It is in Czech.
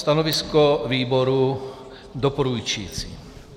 Stanovisko výboru doporučující.